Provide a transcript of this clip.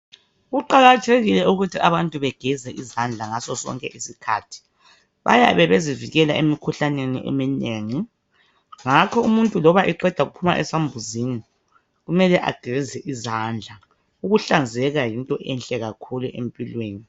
Kuqakathekile ukuthi abantu begeze izandla ngaso sonke isikhathi bayabe bezivikela emikhuhlaneni eminengi ngakho umuntu loba eqeda ukuphuma esambuzini kumele ageze izandla ukuhlanzeka yinto enhle kakhulu empilweni